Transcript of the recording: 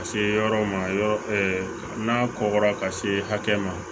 Ka se yɔrɔ ma yɔrɔ n'a kɔgɔra ka se hakɛ ma